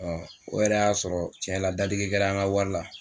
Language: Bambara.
o yɛrɛ y'a sɔrɔ cɛn la dadigi kɛrɛ n ka wari la.